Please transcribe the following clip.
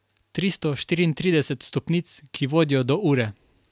Tristo štiriintrideset stopnic, ki vodijo do ure.